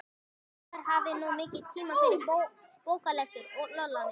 Ætli maður hafi nú mikinn tíma fyrir bóklestur, Lolla mín.